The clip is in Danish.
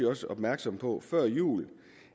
også opmærksom på før jul